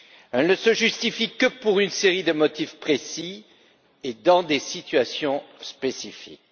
Elle ne se justifie que pour une série de motifs précis et dans des situations spécifiques.